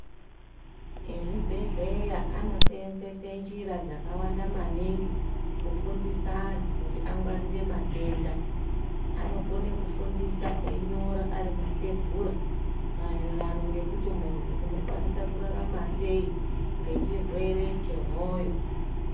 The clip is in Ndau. Mezvibhedhlera anosenzesa njira dzakawanda maningi kufundisa vantu agone matenda anogona kufundisa einyora Ari matebhura maererano ekuti muntu unokwanisa kurarama sei nechirwere chemoyo.